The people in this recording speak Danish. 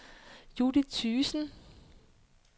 Judith Thygesen